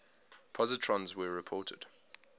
positrons were reported